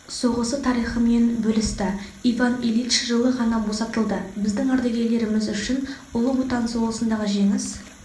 соғысы тарыхымен бөлісті иван ильич жылы ғана босатылды біздің ардагерлеріміз үшін ұлы отан соғысындағы жеңіс